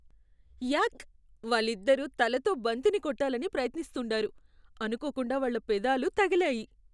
యాక్! వాళ్ళిద్దరూ తలతో బంతిని కొట్టాలని ప్రయత్నిస్తుండారు, అనుకోకుండా వాళ్ళ పెదాలు తగిలాయి.